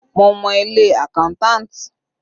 Mo mọ ilé accountant.